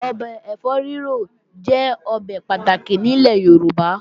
Ọbẹ̀ ẹ̀fọ́ rírò jẹ́ ọbẹ̀ pàtàkì nílẹ̀ Yorùbá